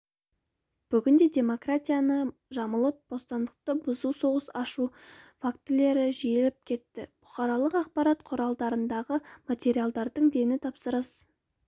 бүгінде демократияны жамылып бостандықты бұзу соғыс ашу фактілері жиілеп кетті бұқаралық ақпарат құралдарындағы материалдардың дені тапсырыс